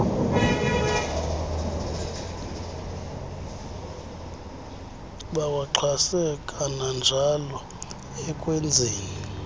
bawaxhase kananjalo ekwenzeni